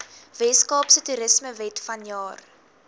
weskaapse toerismewet vanjaar